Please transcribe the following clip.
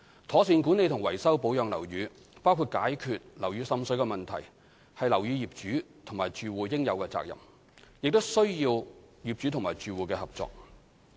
妥善管理和維修保養樓宇，包括解決樓宇滲水的問題，是樓宇業主及住戶應有的責任，亦需要有關業主及住戶的合作。